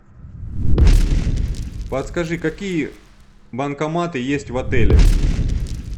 подскажи какие банкоматы есть в отеле